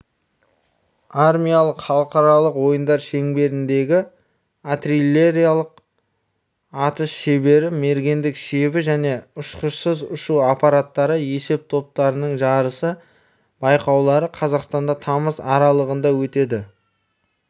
армиялық халықаралық ойындар шеңберіндегі артиллериялық атыс шебері мергендік шебі және ұшқышсыз ұшу аппараттары есептоптарының жарысы байқаулары қазақстанда тамыз аралығында өтеді